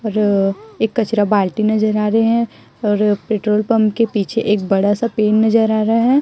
और एक कचडा बाल्टी नजर आ रहे है और पेट्रोल पम्प के पिछे एक बड़ा सा पेड़ नजर आ रहे हैं।